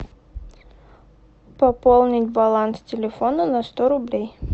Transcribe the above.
пополнить баланс телефона на сто рублей